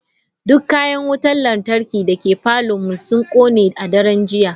Duk Kayan Wutar Lantarki dake parlourn mu sun kone a daren jiya.